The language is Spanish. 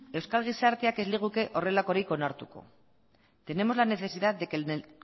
euskal gizarte ez liguke horrelakorik onartuko tenemos la necesidad de que en el